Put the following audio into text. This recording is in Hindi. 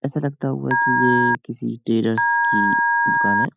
ऐसा लगता हुआ की ये किसी टेलर्स की दुकान है।